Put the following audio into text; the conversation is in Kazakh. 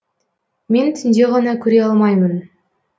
мен түнде ғана көре алмаймын